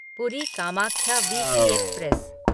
पूरी Kamakhya weekly express